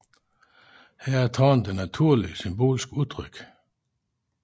Her er tårnet et naturlig symbolsk udtryk